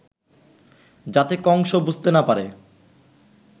যাতে কংস বুঝতে না পারে